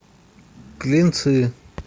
клинцы